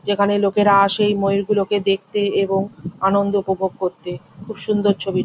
যেখানে লোকেরা আসে ময়ুর গুলোকে দেখতে এবং আনন্দ উপভোগ করতে খুব সুন্দর ছবি।